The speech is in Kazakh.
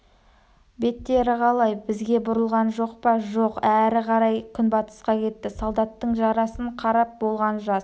беттері қалай бізге бұрылған жоқ па жоқ әрі қарай күнбатысқа кетті солдаттың жарасын қарап болған жас